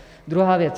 Druhá věc.